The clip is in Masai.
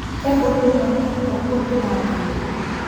Kebulu ormata to nkuapii natoyio